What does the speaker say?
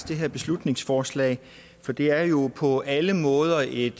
det her beslutningsforslag for det er jo på alle måder et